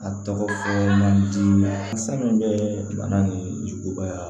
A tɔgɔ fɔ man di fɛn min bɛ bana ni juguya